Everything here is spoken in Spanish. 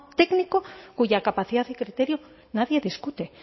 técnico cuya capacidad y criterio nadie discute